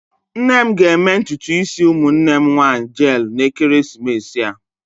Nne m ga-eme ntutu isi ụmụnne m nwanyị jeelụ n'ekeresimesi a.